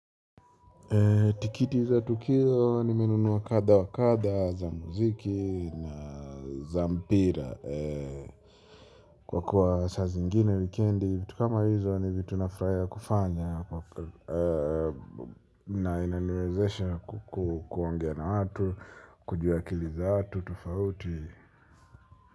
Tikiti za tukio nimenunua kadha wa kadha za muziki na za mpira. Kwa kuwa saa zi ingine wikendi, vitu kama hizo ni vitu nafurahia kufanya. Na inaniwezesha kuongea na watu, kujua akili za watu, tofauti.